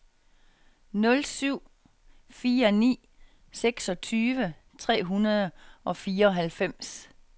nul syv fire ni seksogtyve tre hundrede og fireoghalvfems